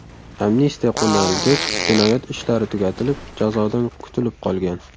Amnistiya qo‘llanilgach, jinoyat ishlari tugatilib, jazodan kutilib qolgan.